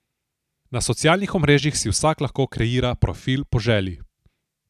Na socialnih omrežjih si vsak lahko kreira profil po želji.